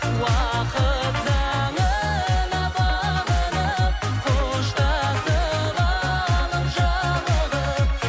уақыт заңына бағынып қоштасып алып жалығып